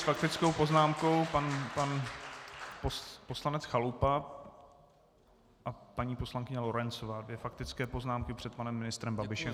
S faktickou poznámkou pan poslanec Chalupa a paní poslankyně Lorencová, dvě faktické poznámky před panem ministrem Babišem.